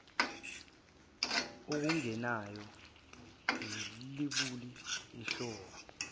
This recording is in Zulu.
okungenayo ilabuli ihlolwa